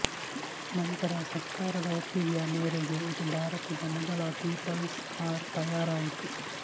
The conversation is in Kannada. ನಂತರ ಸರ್ಕಾರದ ಒಪ್ಪಿಗೆಯ ಮೇರೆಗೆ ಇದು ಭಾರತದ ಮೊದಲ ಪೀಪಲ್ಸ್ ಕಾರ್ ತಯಾರಾಯಿತು